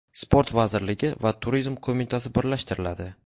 Sport vazirligi va Turizm qo‘mitasi birlashtiriladi.